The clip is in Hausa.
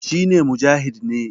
shi ne Mujahid ne